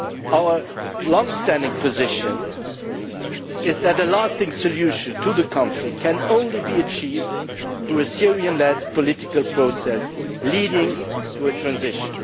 Our long-standing position is that a lasting solution to the conflict can be achieved only through a Syrian led political process leading to a transition.